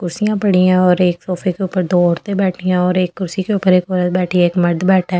कुर्सियां पड़ी हैं और एक सोफे के ऊपर दो औरतें बैठी हैं और एक कुर्सी के ऊपर एक औरत बैठी है एक मर्द बैठा है।